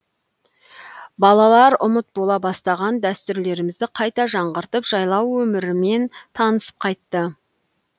балалар ұмыт бола бастаған дәстүрлерімізді қайта жаңғыртып жайлау өмірімен танысып қайтты